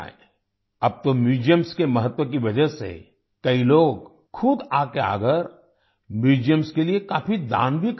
अब तो म्यूजियम्स के महत्व की वजह से कई लोग खुद आगे आकर म्यूजियम्स के लिए काफ़ी दान भी कर रहे हैं